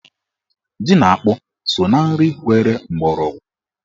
Ji na akpụ so na nri nwere mgbọrọgwụ.